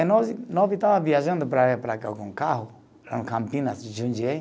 E nove, nove estava viajando para cá com um carro, Campinas, Jundiaí.